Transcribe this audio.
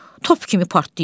Top kimi partlayır.